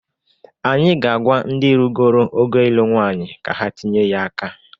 Anyị ga-agwa ndị rugoro ogo ịlụ nwanyị ka ha tinye ya aka.